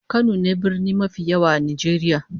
Kano ne birni mafi yawan jama'a a Najeriya